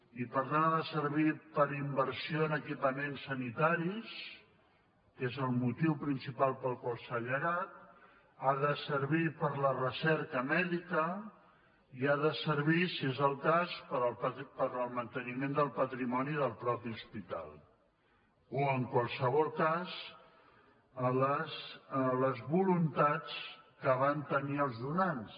i per tant ha de servir per a inversió en equipaments sanitaris que és el mo·tiu principal per al qual s’ha llegat ha de servir per a la recerca mèdica i ha de servir si és el cas per al manteniment del patrimoni del mateix hospital o en qualsevol cas a les voluntats que van tenir els donants